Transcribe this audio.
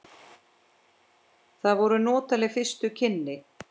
Það voru notaleg fyrstu kynni.